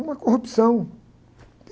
Uma corrupção que...